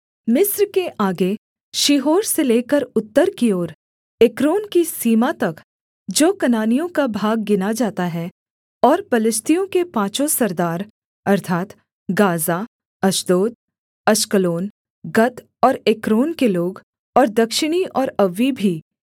मिस्र के आगे शीहोर से लेकर उत्तर की ओर एक्रोन की सीमा तक जो कनानियों का भाग गिना जाता है और पलिश्तियों के पाँचों सरदार अर्थात् गाज़ा अश्दोद अश्कलोन गत और एक्रोन के लोग और दक्षिणी ओर अव्वी भी